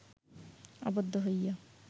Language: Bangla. আবদ্ধ হইয়া